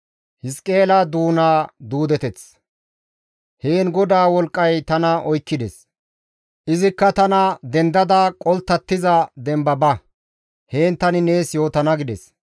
Heen GODAA wolqqay tana oykkides; izikka tana, «Dendada qolttattiza demba ba; heen tani nees yootana» gides.